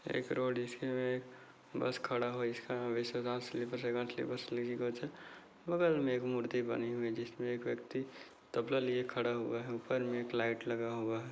एक रोड इसमें बस खड़ा हुआ इसका बगल में एक मूर्ति बनी हुई जिसमे एक व्यक्ति तबला लिए खड़ा हुआ है ऊपर में एक लाइट लगा हुआ है।